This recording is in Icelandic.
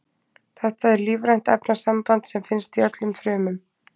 Þetta er lífrænt efnasamband sem finnst í öllum frumum.